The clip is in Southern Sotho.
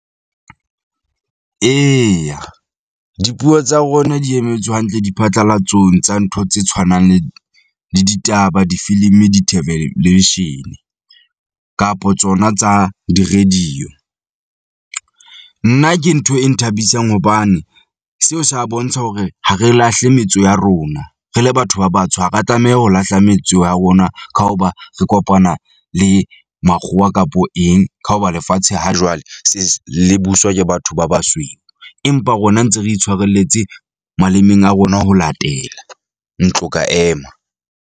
Eya, dipuo tsa rona di emetswe hantle diphatlalatsong tsa ntho tse tshwanang le le ditaba, difilimi, theveleshene kapo tsona tsa di-radio. Nna ke ntho e nthabisang hobane seo sa bontsha hore ha re lahle metso ya rona. Re le batho ba batsho ha ra tlameha ho lahla metso ya rona, ka hoba re kopana le makgowa kapo eng ka hoba lefatshe ha jwale le buswa ke batho ba basweu. Empa rona ntse re tshwarelletse malemeng a rona ho latela ntlo ka ema.